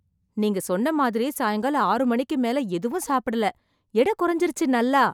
நீங்க சொன்ன மாதிரி சாயங்காலம் ஆறு மணிக்கு மேல எதுவும் சாப்பிடல, எடை குறைஞ்சுருச்சு நல்லா.